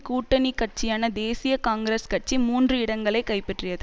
கூட்டணி கட்சியான தேசிய காங்கிரஸ் கட்சி மூன்று இடங்களை கைப்பற்றியது